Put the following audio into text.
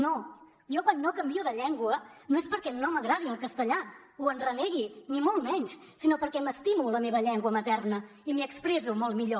no jo quan no canvio de llengua no és perquè no m’agradi el castellà o en renegui ni molt menys sinó perquè m’estimo la meva llengua materna i m’hi expresso molt millor